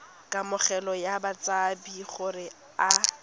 kamogelo ya batshabi gore a